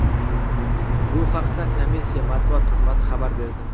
Bu haqda komissiya matbuot xizmati xabar berdi .